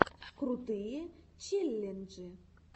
крутые челленджи